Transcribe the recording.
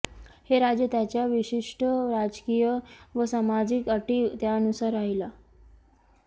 हे राज्य त्याच्या विशिष्ट राजकीय व सामाजिक अटी त्यानुसार राहिला